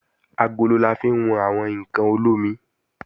Agolo la fi wọn àwọn ǹkan olómi